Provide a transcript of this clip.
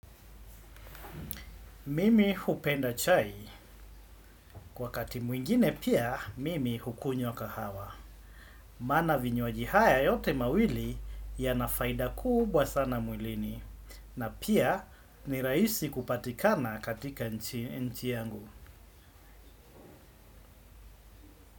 Mimi hupenda chai, kwa wakati mwingine pia mimi hukunywa kahawa. Maana vinywaji haya yote mawili yana faida kubwa sana mwilini, na pia ni rahisi kupatikana katika nchi yangu.